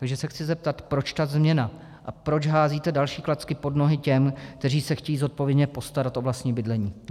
Takže se chci zeptat, proč ta změna a proč házíte další klacky po nohy těm, kteří se chtějí zodpovědně postarat o vlastní bydlení?